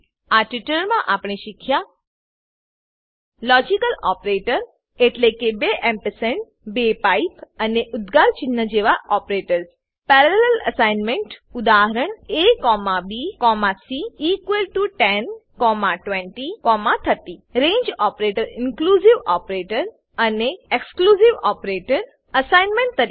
આ ટ્યુટોરીયલમાં આપણે શીખ્યા છે લોજિકલ ઓપરેટર એટલેકે બે એમ્પરસેન્ડ બે પાઇપ અને ઉદ્ગાર ચિહ્ન જેવા ઓપરેટર્સ પેરાલેલ અસાઇનમેન્ટ ઉદાહરણ abc102030 રંગે ઓપરેટર ઇન્ક્લુઝિવ ઓપરેટર અને એક્સક્લુઝિવ operator અસાઇનમેન્ટ તરીકે